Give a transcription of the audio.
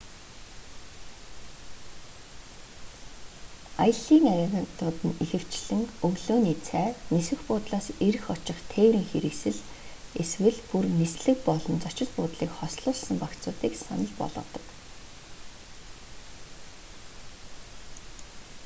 аяллын агентууд нь ихэвчлэн өглөөний цай нисэх буудлаас ирэх очих тээврийн хэрэгсэл эсвэл бүр нислэг болон зочид буудлыг хослуулсан багцуудыг санал болгодог